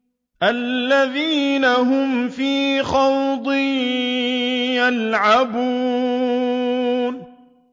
الَّذِينَ هُمْ فِي خَوْضٍ يَلْعَبُونَ